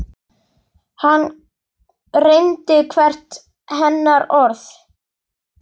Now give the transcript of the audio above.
Hann reyndi hvert hennar orð.